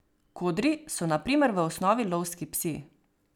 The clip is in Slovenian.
Kodri so na primer v osnovi lovski psi.